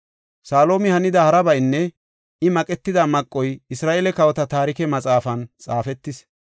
Salumi hanida harabaynne I maqetida maqoy Isra7eele Kawota Taarike Maxaafan xaafetis.